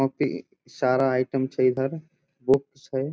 वहाँ पे पर बहुत सारा आइटम छै | इधर बुक्स छै ।